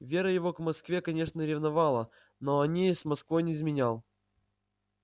вера его к москве конечно ревновала но он ей с москвой не изменял